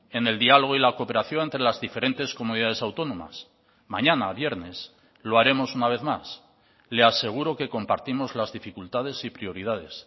en el diálogo y la cooperación entre las diferentes comunidades autónomas mañana viernes lo haremos una vez más le aseguro que compartimos las dificultades y prioridades